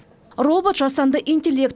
робот жасанды интеллект